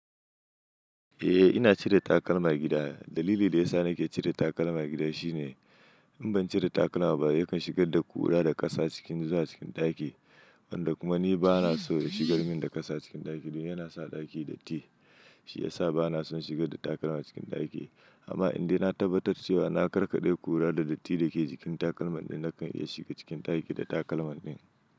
Eh ina cire takalma gida. Dalilin da ya sa nake cire takalma gida shine in ban cire takalma ba yakan shigar da ƙura da ƙasa cikin zuwa cikin ɗaki, wanda kuma ni bana so shigar min da ƙasa cikin ɗaki. Domin yana sa ɗaki datti, shi ya sa bana son shigar da takalma cikin ɗaki. Amma indai na tabbatar cewa na karkaɗe ƙura da datti da ke jikin takalman dai nakan iya shiga cikin ɗaki da takalman din.